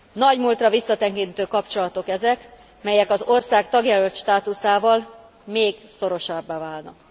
Nagy múltra visszatekintő kapcsolatok ezek, melyek az ország tagjelölt státuszával még szorosabbá válnak.